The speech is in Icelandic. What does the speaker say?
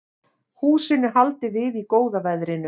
Húsinu haldið við í góða veðrinu